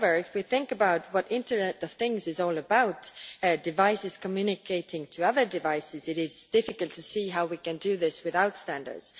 However, if we think about what the Internet of Things is all about devices communicating with other devices it is difficult to see how we can do this without standards.